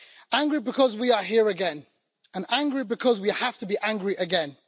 Angry because we are here again, and angry because we have to be angry again.